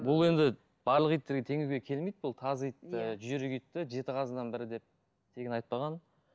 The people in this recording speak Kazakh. бұл енді барлық иттерге теңеуге келмейді бұл тазы итті жүйрік итті жеті қазынаның бірі деп тегін айтпаған